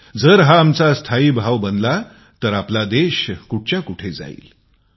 जर हा आमचा स्थायी भाव बनला तर आपला देश कुठच्या कुठे जाऊ शकेल